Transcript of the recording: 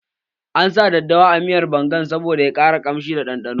An sa daddawa a miyar bangan saboda ya ƙara kamshi da ɗanɗano